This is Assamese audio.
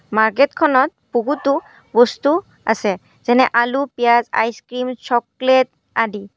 মাৰ্কেটখনত বহুতো বস্তু আছে যেনে আলু পিয়াঁজ আইছ্-ক্ৰীম্ চকলেট আদি।